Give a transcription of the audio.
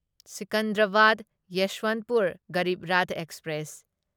Secunderabad Yesvantpur Garib Rath express